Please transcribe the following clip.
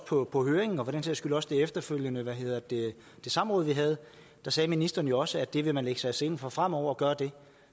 på på høringen og for den sags skyld også på det efterfølgende samråd vi havde sagde ministeren jo også at det vil man lægge sig i selen for fremover at gøre